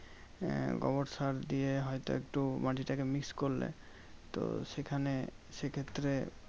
আহ গোবর সার দিয়ে হয়তো একটু মাটিটাকে mix করলে। তো সেখানে সেক্ষেত্রে